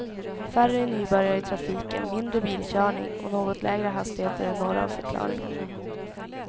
Färre nybörjare i trafiken, mindre bilkörning och något lägre hastigheter är några av förklaringarna.